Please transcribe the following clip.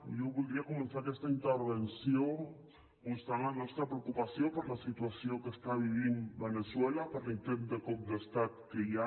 jo voldria començar aques·ta intervenció mostrant la nostra preocupació per la situació que està vivint veneçue·la per l’intent de cop d’estat que hi ha